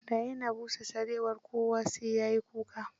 Da ya na busa sarewar, kowa sai da ya yi kuka.